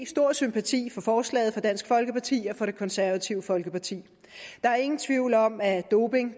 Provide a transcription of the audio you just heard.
stor sympati for forslaget fra dansk folkeparti og det konservative folkeparti der er ingen tvivl om at doping